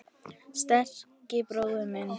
Sterki bróðir minn.